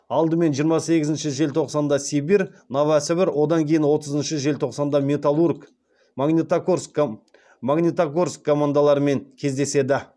алдымен жиырма сегізінші желтоқсанда сибирь одан кейін отызыншы желтоқсанда металлург командаларымен кездеседі